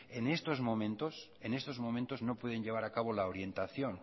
en estos momentos no pueden llevar a cabo la orientación